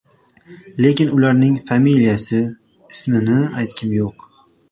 Lekin ularning familiyasi, ismini aytgim yo‘q.